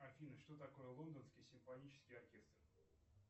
афина что такое лондонский симфонический оркестр